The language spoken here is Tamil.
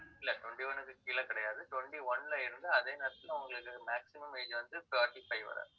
இல்லை, twenty-one க்கு கீழே கிடையாது. twenty-one ல இருந்து, அதே நேரத்திலே உங்களுக்கு maximum age வந்து, thirty-five வரை